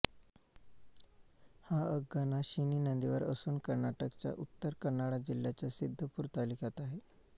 हा अघनाशिनी नदीवर असून कर्नाटकच्या उत्तर कन्नडा जिल्ह्याच्या सिद्दपूर तालुक्यात आहे